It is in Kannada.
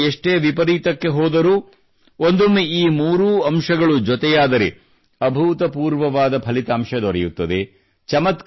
ಪರಿಸ್ಥಿತಿಗಳು ಎಷ್ಟೇ ವಿಪರೀತಕ್ಕೆ ಹೋದರೂ ಒಂದೊಮ್ಮೆ ಈ ಮೂರೂ ಅಂಶಗಳು ಒಂದಕ್ಕೊಂದು ಸೇರಿಕೊಂಡರೆ ಅಭೂತಪೂರ್ವವಾದ ಪರಿಣಾಮ ದೊರೆಯುತ್ತದೆ